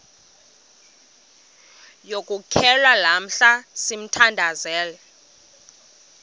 yokuxhelwa lamla sithandazel